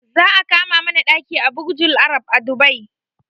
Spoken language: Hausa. Za a kama mana ɗaki a burjul arab a dubai